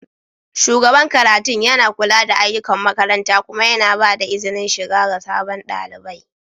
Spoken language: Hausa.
shugaban karatun yana kula da ayyukan makaranta kuma yana ba da izinin shiga ga sabon ɗalibi